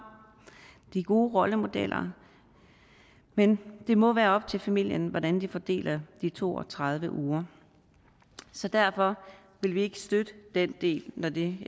de gode rollemodeller men det må være op til familien hvordan de fordeler de to og tredive uger så derfor vil vi ikke støtte den del når det